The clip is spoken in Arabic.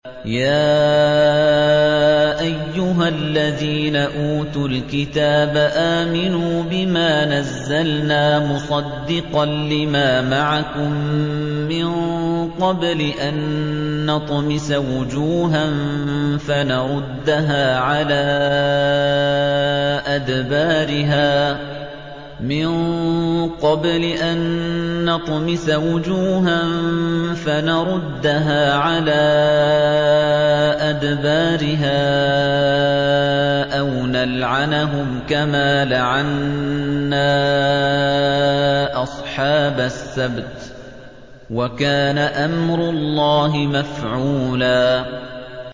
يَا أَيُّهَا الَّذِينَ أُوتُوا الْكِتَابَ آمِنُوا بِمَا نَزَّلْنَا مُصَدِّقًا لِّمَا مَعَكُم مِّن قَبْلِ أَن نَّطْمِسَ وُجُوهًا فَنَرُدَّهَا عَلَىٰ أَدْبَارِهَا أَوْ نَلْعَنَهُمْ كَمَا لَعَنَّا أَصْحَابَ السَّبْتِ ۚ وَكَانَ أَمْرُ اللَّهِ مَفْعُولًا